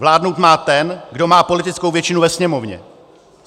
Vládnout má ten, kdo má politickou většinu ve Sněmovně.